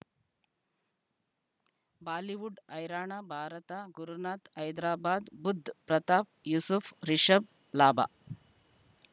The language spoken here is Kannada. ಬಾಲಿವುಡ್ ಹೈರಾಣ ಭಾರತ ಗುರುನಾಥ ಹೈದರಾಬಾದ್ ಬುಧ್ ಪ್ರತಾಪ್ ಯೂಸುಫ್ ರಿಷಬ್ ಲಾಭ